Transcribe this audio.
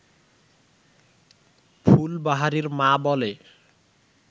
ফুলবাহারির মা বলে